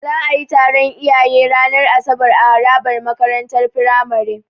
Za'a yi taron iyaye ranar asabar a harabar makarantar Firamare.